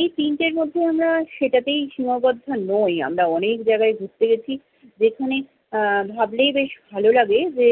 এই তিনটের মধ্যে আমরা সেটাতেই সীমাবদ্ধ নই, আমরা অনেক জায়গায় ঘুরতে গেছি। যেখানে আহ ভাবলেই বেশ ভালো লাগে যে